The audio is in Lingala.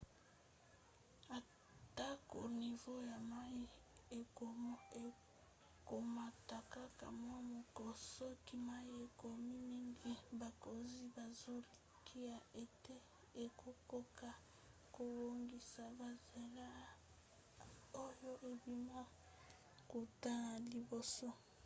atako nivo ya mai ekomata kaka mwa moko soki mai ekomi mingi bakonzi bazolikia ete ekokoka kobongisa bazelo oyo ebima kuta na liboso